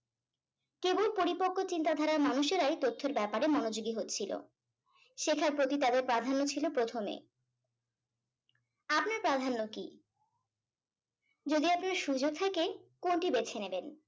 কেবল পরিপক্ক চিন্তাধারার মানুষেরাই তথ্যের ব্যাপারে মনোযোগী হচ্ছিলো শেখার প্রতি তাদের প্রাধান্য ছিল প্রথমে আপনার প্রাধান্য কি যদি আপনার সুযোগ থাকে কোনটি বেছে নেবেন